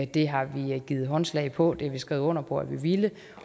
det har vi givet håndslag på det har vi skrevet under på at vi vil